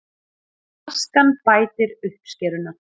Askan bætir uppskeruna